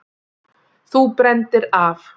Þú brenndir af!